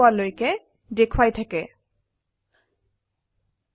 হয় now let us try out an example in এক্লিপছে